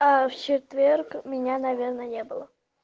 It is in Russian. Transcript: а в четверг меня наверное не было